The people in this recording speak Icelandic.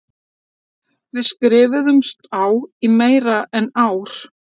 Við skrifuðumst á í meira en ár.